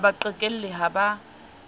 ha ba qhekelle ha ba